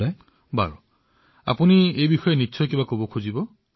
নিশ্চয় মই আপোনাৰ সৈতে কিছু কথা পাতিব বিচাৰিছিলো